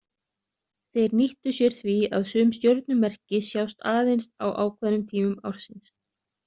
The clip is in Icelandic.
Þeir nýttu sér því að sum stjörnumerki sjást aðeins á ákveðnum tímum ársins.